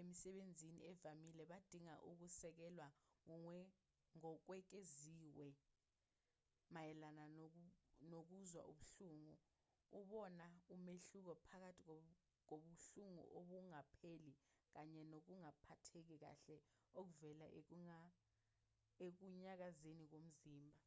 emisebenzini evamile badinga ukusekelwa okwengeziwe mayelana nokuzwa ubuhlungu ubona umehluko phakathi kobuhlungu obungapheli kanye nokungaphatheki kahle okuvela ekunyakazeni komzimba